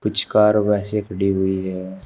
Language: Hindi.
कुछ कार वैसे ही खड़ी हुई है।